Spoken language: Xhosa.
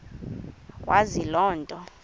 wazi loo nto